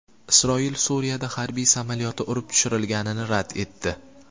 Isroil Suriyada harbiy samolyoti urib tushirilganini rad etdi.